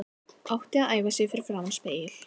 Átti að æfa sig fyrir framan spegil.